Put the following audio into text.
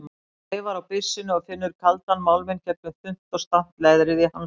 Hann þreifar á byssunni og finnur kaldan málminn gegnum þunnt og stamt leðrið í hanskanum.